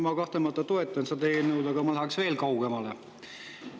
Ma kahtlemata toetan seda eelnõu, aga ma läheks veel kaugemale.